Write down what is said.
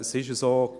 Es ist so: